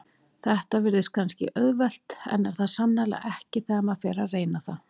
Þetta virðist kannski auðvelt en er það sannarlega ekki þegar maður fer að reyna það.